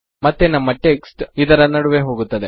ಮತ್ತೆ ನಮ್ಮ ಟೆಕ್ಸ್ಟ್ ಇದರ ನಡುವೆ ಹೋಗುತ್ತದೆ